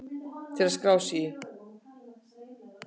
Til að skrá sig í